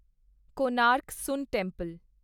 Konark sun temple